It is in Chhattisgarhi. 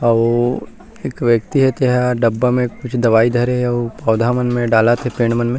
अऊ एक व्यक्ति हे तेहा डब्बा में कुछ दवाई धरे हे अऊ पौधा मन में डालत हे पेड़ मन में--